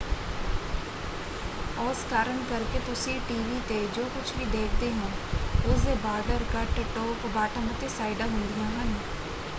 ਉਸ ਕਾਰਨ ਕਰਕੇ ਤੁਸੀਂ ਟੀਵੀ ‘ਤੇ ਜੋ ਕੁੱਝ ਵੀ ਦੇਖਦੇ ਹੋ ਉਸ ‘ਤੇ ਬਾਰਡਰ ਕੱਟ ਟੋਪ ਬਾਟਮ ਅਤੇ ਸਾਈਡਾਂ ਹੁੰਦੀਆਂ ਹਨ।